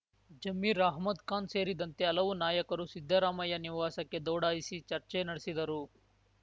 ಜಮೀರ್‌ ಅಹ್ಮದ್‌ ಖಾನ್‌ ಸೇರಿದಂತೆ ಹಲವು ನಾಯಕರು ಸಿದ್ದರಾಮಯ್ಯ ನಿವಾಸಕ್ಕೆ ದೌಡಾಯಿಸಿ ಚರ್ಚೆ ನಡೆಸಿದರು